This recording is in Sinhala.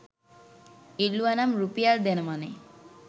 ඉල්ලුවනම් රුපියල්දෙනවනෙ